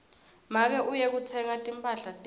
make uye kutsenga timphahla tetfu